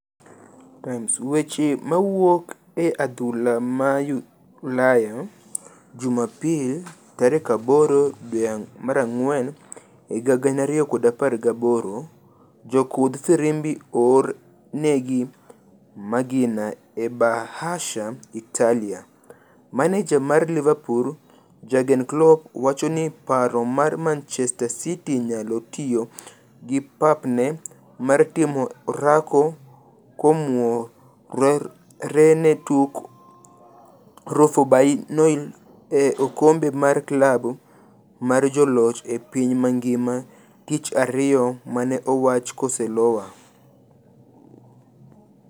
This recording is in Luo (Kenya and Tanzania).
(Times) Weche mawuok e adhula ma Ulaya Jumapil 08.04.2018 Jokudh firimbi oor negi magina e bahasha Italia .Maneja mar Liverpool Jurgen Klopp wacho ni paro mar Manchester City nyalo tiyo gi papne mar timo orako komurore ne tuk robofainol e okombe mar klab mar joloch e piny mangima tich ariyo mane owach koselewo.